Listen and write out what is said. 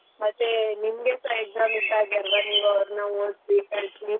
ಮತ್ತೆ ನಿಮ್ಗೆಸಾ exam ಇದ್ದಾಗೆ ಅಲ್ವ ನೀವ್ ಅವ್ರ್ನ ಓದ್ಸಿ ಕಲ್ಸಿ.